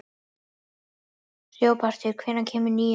Hróbjartur, hvenær kemur nían?